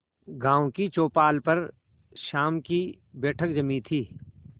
गांव की चौपाल पर शाम की बैठक जमी थी